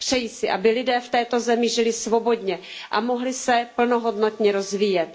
Přeji si, aby lidé v této zemi žili svobodně a mohli se plnohodnotně rozvíjet.